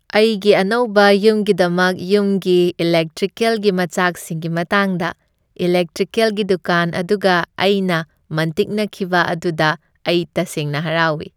ꯑꯩꯒꯤ ꯑꯅꯧꯕ ꯌꯨꯝꯒꯤꯗꯃꯛ ꯌꯨꯝꯒꯤ ꯏꯂꯦꯛꯇ꯭ꯔꯤꯀꯦꯜꯒꯤ ꯃꯆꯥꯛꯁꯤꯡꯒꯤ ꯃꯇꯥꯡꯗ ꯏꯂꯦꯛꯇ꯭ꯔꯤꯀꯦꯜꯒꯤ ꯗꯨꯀꯥꯟ ꯑꯗꯨꯒ ꯑꯩꯅ ꯃꯟꯇꯤꯛꯅꯈꯤꯕ ꯑꯗꯨꯗ ꯑꯩ ꯇꯁꯦꯡꯅ ꯍꯔꯥꯎꯏ꯫